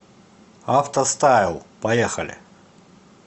авто стайл поехали